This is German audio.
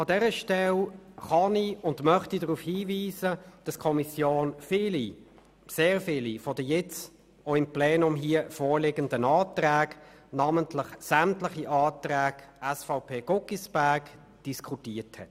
An dieser Stelle kann und möchte ich darauf hinweisen, dass die Kommission sehr viele von den auch hier vorgelegten Anträgen diskutiert hat, namentlich sämtliche Anträge der SVP.